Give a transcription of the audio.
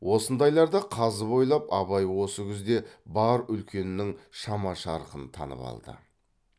осындайларды қазып ойлап абай осы күзде бар үлкеннің шама шарқын танып алды